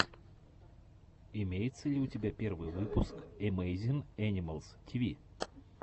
имеется ли у тебя первый выпуск эмэйзин энимэлс тиви